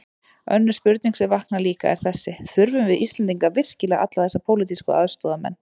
Önnur spurning sem vaknar líka, er þessi: Þurfum við Íslendingar virkilega alla þessa pólitísku aðstoðarmenn?